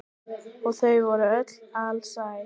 Og þau voru öll alsæl.